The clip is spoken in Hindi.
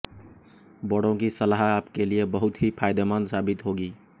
बड़ों की सलाह आपके लिए बहुत ही फायदेमंद साबित होगी